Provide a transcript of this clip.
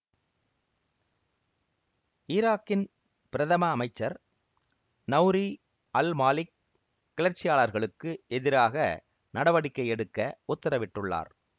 ஈராக்கின் பிரதம அமைச்சர் நெளரி அல்மாலிக் கிளர்ச்சியாளர்களுக்கு எதிராக நடவடிக்கை எடுக்க உத்தரவிட்டுள்ளார்